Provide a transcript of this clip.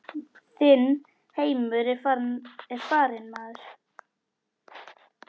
Þinn heimur er farinn maður.